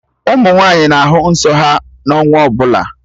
Ụmụ nwaanyị na-ahụ nsọ ha n'ọnwa ọbụla